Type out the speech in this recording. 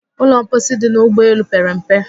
Ụlọ mposi dị n'ụgbọ elu pere mpe